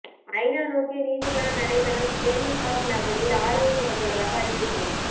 ஐநா நோக்கிய நீதிக்கான நடைப்பயணம் டென் ஹாக் நகரில் ஆரம்பிக்கப்பட்டுள்ளதாக அறிவிப்பு